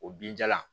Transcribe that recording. O binjalan